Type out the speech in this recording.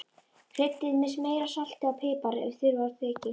Kryddið með meira salti og pipar ef þurfa þykir.